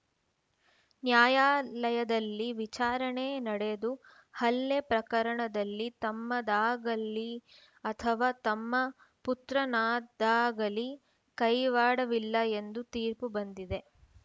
ನ್ಯಾಯಾಲಯದಲ್ಲಿ ವಿಚಾರಣೆ ನಡೆದು ಹಲ್ಲೆ ಪ್ರಕರಣದಲ್ಲಿ ತಮ್ಮದಾಗಲಿ ಅಥವಾ ತಮ್ಮ ಪುತ್ರನದ್ದಾಗಲಿ ಕೈವಾಡವಿಲ್ಲ ಎಂದು ತೀರ್ಪು ಬಂದಿದೆ